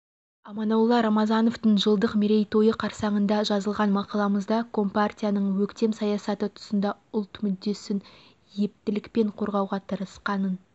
аманолла рамазановтың жылдық мерейтойы қарсаңында жазылған мақаламызда компарияның өктем саясаты тұсында ұлт мүддесін ептілікпен қорғауға тырысқанын